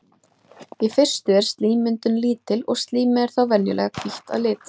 Í fyrstu er slímmyndun lítil og slímið er þá venjulega hvítt að lit.